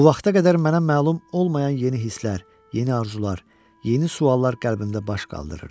Bu vaxta qədər mənə məlum olmayan yeni hisslər, yeni arzular, yeni suallar qəlbində baş qaldırırdı.